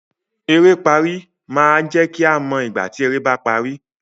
"Eré pari" máa jẹ kí a mọ ìgbà tí eré ba parí.